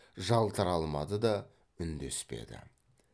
жалтара алмады да үндеспеді